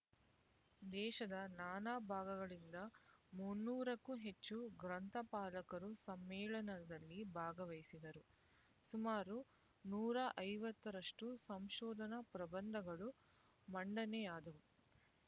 ದೇಶದ ನಾನಾ ಭಾಗಗಳಿಂದ ಮುನ್ನೂರಕ್ಕೂ ಹೆಚ್ಚು ಗ್ರಂಥಪಾಲಕರು ಸಮ್ಮೇಳನದಲ್ಲಿ ಭಾಗವಹಿಸಿದರು ಸುಮಾರು ನೂರ ಐವತ್ತರಷ್ಟು ಸಂಶೋಧನ ಪ್ರಬಂಧಗಳು ಮಂಡನೆಯಾದವು